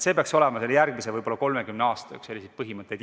See peaks olema järgmise võib-olla 30 aasta üks põhimõtteid.